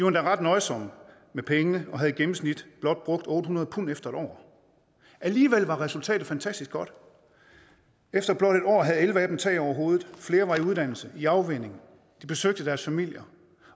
endda ret nøjsomme med pengene og havde i gennemsnit blot brugt otte hundrede pund efter et år alligevel var resultatet fantastisk godt efter blot en år havde elleve af dem tag over hovedet flere var i uddannelse i afvænning de besøgte deres familier